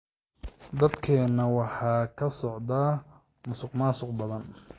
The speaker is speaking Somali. Dalkeena waxaa ka socda musuq-maasuq badan.